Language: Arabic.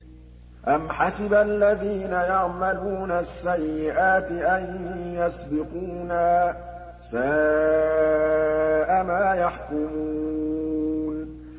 أَمْ حَسِبَ الَّذِينَ يَعْمَلُونَ السَّيِّئَاتِ أَن يَسْبِقُونَا ۚ سَاءَ مَا يَحْكُمُونَ